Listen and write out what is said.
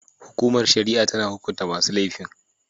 Hukumar shari'a tana hukunta masu laifin.